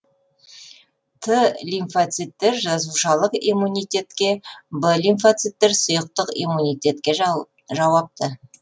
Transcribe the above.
т лимфоциттер жасушалық иммунитетке в лимфоциттер сұйықтық иммунитетке жауапты